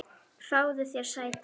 Fáðu þér sæti.